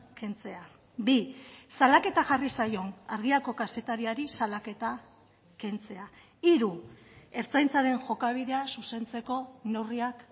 kentzea bi salaketa jarri zaion argiako kazetariari salaketa kentzea hiru ertzaintzaren jokabidea zuzentzeko neurriak